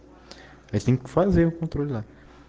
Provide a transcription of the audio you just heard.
лесник